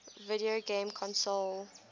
video game console